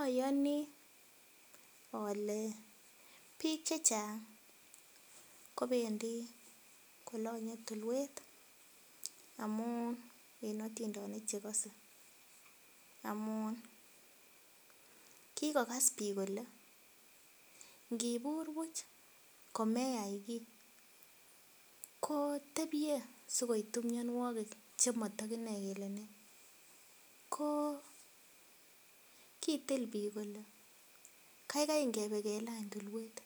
Oyonii ole bik chechang kopendii kolonye tulwet amun en otindonik chekose amun kikokas bik kole inkibur buch kimeyai kii ko tebie sikoitu mionwokik chemoto kinoe kele nee. Ko kitil bik kole kaigai ingebe kelany tulwet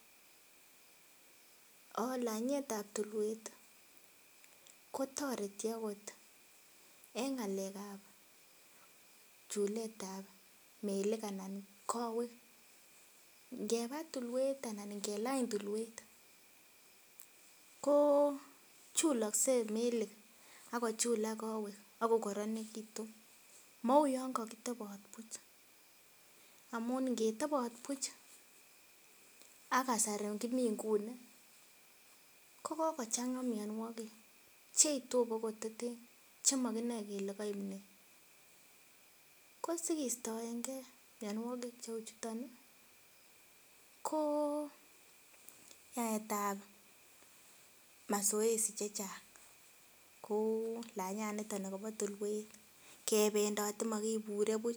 olanyetab tulwet tii kotoreti okot en ngalekab chuletab kowek anan melik. Ngeba tulwet anan ngelany tulwet ko chulokse melik ak kochula kowek akokoronekitu mou yon kokitebot buch amun ngetebot buch ak kasari komii Nguni ko kokochanga mionwokik cheitu en kototen chemokinoe kele koib nee. Ko sikiatoengee mionwokik cheu chuton nii ko yaetab mazoezi chechang ko lonyaniton nikobo tulwet kependotet mokinure buch.